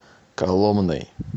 коломной